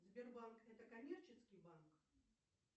сбербанк это коммерческий банк